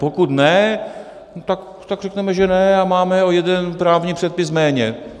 Pokud ne, tak řekněme, že ne, a máme o jeden právní předpis méně.